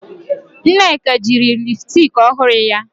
Nneka jiri lipsticki ọhụrụ ya